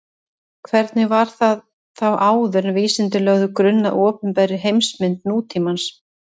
Hvernig var það þá áður en vísindin lögðu grunn að opinberri heimsmynd nútímans?